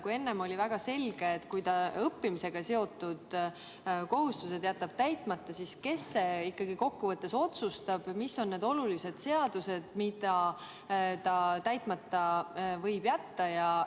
Kui enne oli väga selge, et kui ta õppimisega seotud kohustused jätab täitmata, siis kes see nüüd ikkagi kokkuvõttes otsustab, mis on need olulised seadused, mida ta täitmata võib jätta?